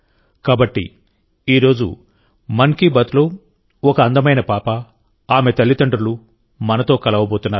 కాబట్టి ఈ రోజు మన్ కీ బాత్ లో ఒక అందమైన పాప ఆమె తల్లిదండ్రులు మనతో కలవబోతున్నారు